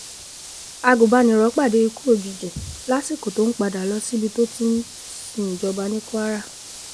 agunbaniro pàdé ikú òjijì lásìkò tó ń padà lọ síbi tó ti ń ti ń ṣìnjọba ní kwara